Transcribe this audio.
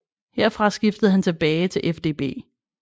Herfra skiftede han tilbage til FDB